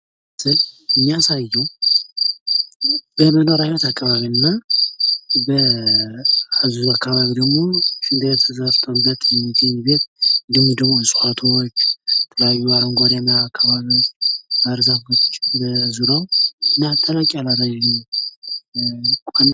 በምስሉ ላይ እንደሚታየዉ በመኖሪያ ቤት አከባቢ እና በዚሁ አከባቢ ደሞ ሺንት ቤት ተሰርቶበት የሚገኝ ቤት፣ እንዲሁም ደሞ እጽዋቶች፣ የተለያዩ አረንጓዴማ አከባቢዎች፣ ባሕርዛፎች በዙሪያዉ እና ተለቅ ያለ ረዥም ቁዋሚ።